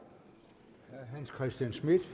vil